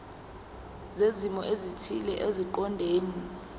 zezimo ezithile eziqondene